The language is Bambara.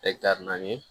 naani